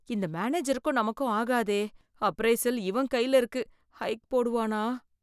இந்த மேனேஜருக்கும் நமக்கும் ஆகாதே, அப்ரைசல் இவன் கையில இருக்கு ஹைக் போடுவானா?